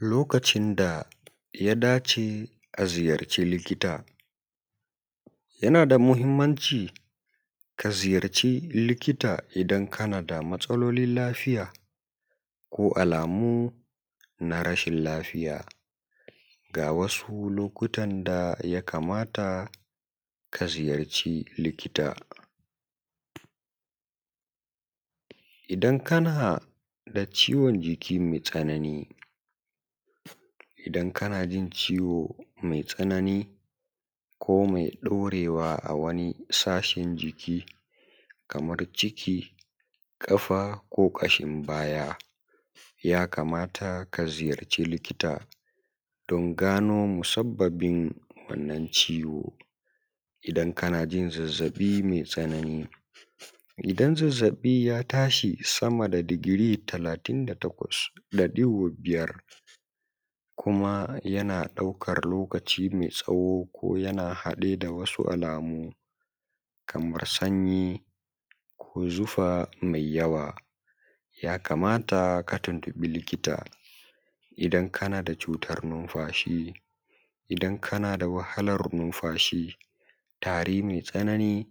Lokacin da Ya Dace a Ziyarci Likita. Yana da muhimmanci ka ziyarci likita idan kana da matsalolin lafiya ko alamun rashin lafiya. Ga wasu lokutan da ya kamata ka tuntuɓi likita: na daya Idan kana da ciwon jiki mai tsanani Idan kana jin ciwo mai tsanani ko mai ɗorewa a wani sashin jiki kamar ciki, ƙafa ko kashin baya ya kamata ka je wurin likita domin a gano musabbabin ciwon. Na biyu Idan kana da zazzabi mai tsanani Idan zazzabinka ya haura 38.5°C, kuma yana ɗaukar lokaci mai tsawo ko yana tare da wasu alamu kamar sanyi ko zufa mai yawa, yana da kyau ka tuntuɓi likita. Na uku Idan kana da matsalar numfashi Idan kana wahalar numfashi, tari mai tsanani,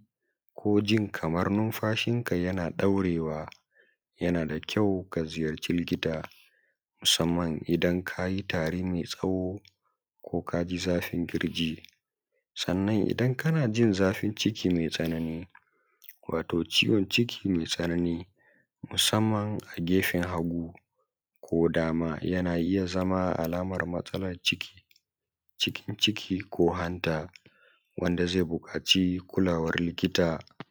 ko kana jin kamar numfashinka yana daurewa, ka gaggauta ganin likita musamman idan tarin ya daɗe ko kana jin zafin kirji. Na hudu Idan kana jin zafin ciki mai tsanani, Zafin ciki mai tsanani musamman a gefen hagu ko dama na iya zama alamar matsalar hanji, ciki, ko hanta, wanda ke bukatar kulawar likita cikin gaggawa.